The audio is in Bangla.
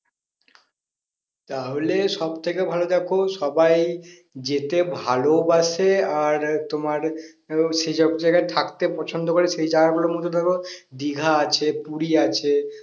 তাহলে সব থেকে ভালো দেখো সবাই যেতে ভালোবাসে আর তোমার উম সে সব জায়গায় থাকতে পছন্দ করে সেই জায়গা গুলোর মধ্যে ধরো দীঘা আছে পুরী আছে